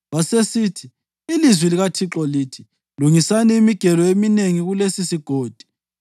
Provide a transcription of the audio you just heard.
wasesithi, “Ilizwi likaThixo lithi: Lungisani imigelo eminengi kulesisigodi.